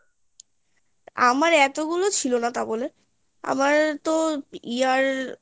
আমার এতগুলো ছিল না তা বলে আমার তো year